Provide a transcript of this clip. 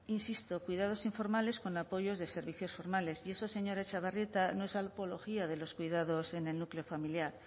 insisto cuidados informales con apoyos de servicios formales y eso señora etxebarrieta no es apología de los cuidados en el núcleo familiar